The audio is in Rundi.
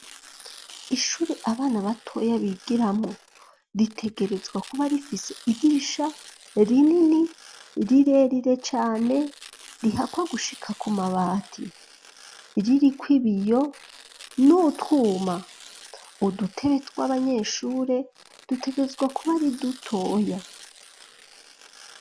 Ishuri abana batoya bigiramwo ritegerezwa kuba rifise idirisha rinini rirerire cyane rihakwa gushika ku mabati ririkwibiyo nutwuma udutebe tw'abanyeshuri dutegerezwa kuba ari dutoya.